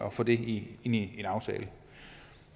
at få det ind i aftalen